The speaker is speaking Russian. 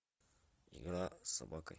игра с собакой